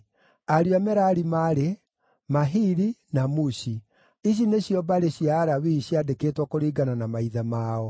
Ariũ a Merari maarĩ: Mahili na Mushi. Icio nĩcio mbarĩ cia Alawii ciandĩkĩtwo kũringana na maithe mao: